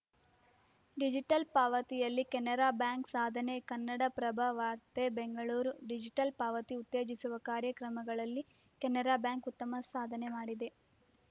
digital ಪಾವತಿಯಲ್ಲಿ Canara bank ಸಾಧನೆ ಕನ್ನಡಪ್ರಭ ವಾರ್ತೆ ಬೆಂಗಳೂರು ಡಿಜಿಟಲ್‌ ಪಾವತಿ ಉತ್ತೇಜಿಸುವ ಕಾರ್ಯಕ್ರಮಗಳಲ್ಲಿ ಕೆನರಾ ಬ್ಯಾಂಕ್‌ ಉತ್ತಮ ಸಾಧನೆ ಮಾಡಿದೆ